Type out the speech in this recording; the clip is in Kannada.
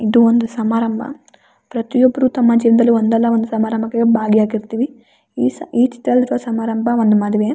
ಇದು ಒಂದು ಸಮಾರಂಭ ಪ್ರತಿಯೊಬ್ರು ತಮ್ಮ ಜೀವನದಾಲಿ ಒಂದಲ್ಲ ಒಂದು ಸಮಾರಂಭಕ್ಕೆ ಭಾಗಿಯಾಗಿರ್ತೀವಿ ಈ ಈ ಚಿತ್ರದಲ್ಲಿ ರುವ ಸಮಾರಂಭ ಒಂದು ಮದುವೆ.